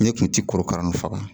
Ne kun ti korokara nu faga